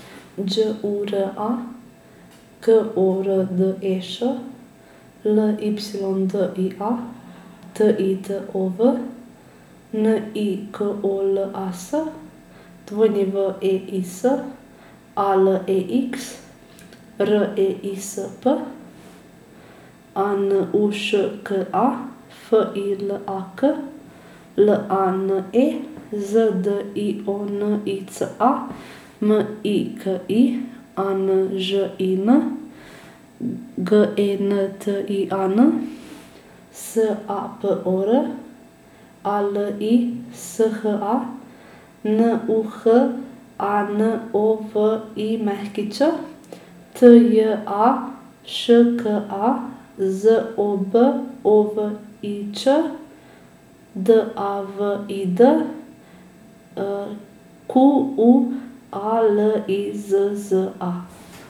Đ U R A, K O R D E Š; L Y D I A, T I T O V; N I K O L A S, W E I S; A L E X, R E I S P; A N U Š K A, F I L A K; L A N E, Z D I O N I C A; M I K I, A N Ž I N; G E N T I A N, S A P O R; A L I S H A, N U H A N O V I Ć; T J A Š K A, Z O B O V I Č; D A V I D, Q U A L I Z Z A.